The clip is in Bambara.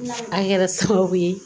A kɛra sababu ye